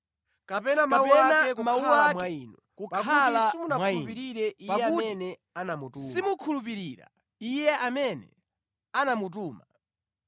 kapena mawu ake kukhala mwa inu, pakuti simukhulupirira Iye amene anamutuma.